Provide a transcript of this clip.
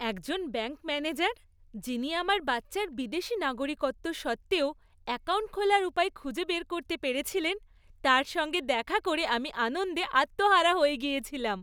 একজন bank manager, যিনি আমার বাচ্চার বিদেশী নাগরিকত্ব সত্ত্বেও অ্যাকাউন্ট খোলার উপায় খুঁজে বের করতে পেরেছিলেন, তাঁর সঙ্গে দেখা করে আমি আনন্দে আত্মহারা হয়ে গিয়েছিলাম।